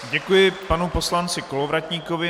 Děkuji panu poslanci Kolovratníkovi.